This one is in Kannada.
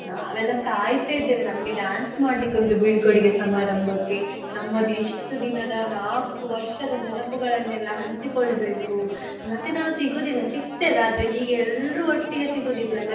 ನಾವೆಲ್ಲ ಕಾಯ್ತಿದ್ದೇವೆ ನಮ್ಗೆ dance ಮಾಡ್ಲಿಕ್ಕೆ ಉಂಟು ಬೀಳ್ಕೊಡುಗೆ ಸಮಾರಂಭಕ್ಕೆ ನಮ್ಮದು ಇಷ್ಟು ದಿನದ ನಾಲ್ಕು ವರ್ಷದ ನೆನಪುಗಳನ್ನೆಲ್ಲ ಹಂಚಿಕೊಳ್ಬೇಕು ಮತ್ತೆ ನಾವು ಸಿಗುದಿಲ್ಲ ಸಿಗ್ತೇವೆ ಆದ್ರೆ ಹೀಗೆ ಎಲ್ರೂ ಒಟ್ಟಿಗೆ ಸಿಗೋದಿಲ್ಲ ಅಲ್ಲ.